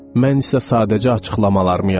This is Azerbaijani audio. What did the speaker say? Mən isə sadəcə açıqlamalarımı yazıram.